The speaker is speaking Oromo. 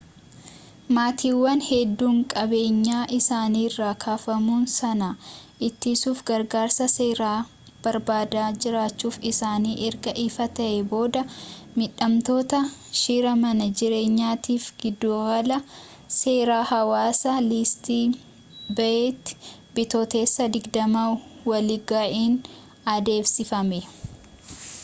maatiiwwan hedduun qabeenyaa isaaniirraa kaafamuu sana ittisuuf gargaarsa seeraa barbaadaa jiraachuun isaanii erga ifa ta'ee booda miidhamtoota shira mana jireenyaatiif giddugala seeraa hawaasa iisti beeyitti bitootessa 20 walga'iin adeemsifame